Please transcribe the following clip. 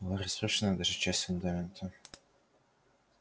была разрушена даже часть фундамента